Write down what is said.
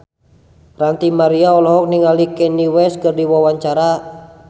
Ranty Maria olohok ningali Kanye West keur diwawancara